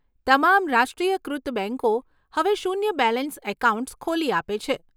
તમામ રાષ્ટ્રીયકૃત બેંકો હવે શૂન્ય બેલેન્સ એકાઉન્ટ્સ ખોલી આપે છે.